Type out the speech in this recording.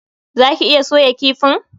Zaki iya soya kifin?